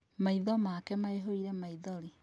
Maitho make maihũire maithori